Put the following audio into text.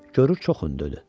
Görür çox hündürdü.